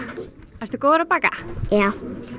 ertu góður að baka já